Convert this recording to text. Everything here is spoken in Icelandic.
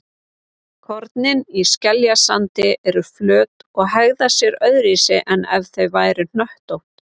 Kornin í skeljasandi eru flöt og hegða sér öðruvísi en ef þau væru hnöttótt.